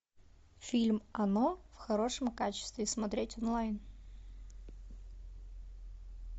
фильм оно в хорошем качестве смотреть онлайн